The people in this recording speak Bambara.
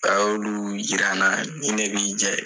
A y'olu yira n na ni ne bi jɛn